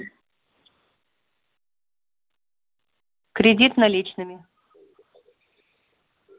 кредит наличными